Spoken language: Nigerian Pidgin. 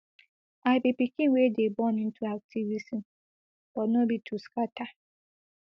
i be pikin wey dey born into activism but no be to scata